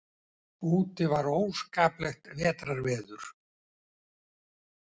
Úti var óskaplegt vetrarveður.